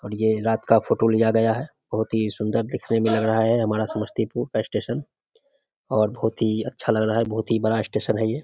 और ये रात का फोटो लिया गया हैं बहुत ही सुंदर दिखने में लग रहा हैं हमारा समस्तीपूर का स्टैशन और बहुत ही अच्छा लग रहा हैं बहुत ही बड़ा स्टैशन हैं ये |